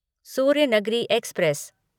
Suryanagari express